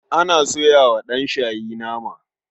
Ana soya wa ɗanshayi nama.